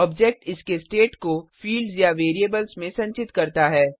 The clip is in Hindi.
ऑब्जेक्ट इसके स्टेट को फिल्ड्स या वेरिएबल्स में संचित करता है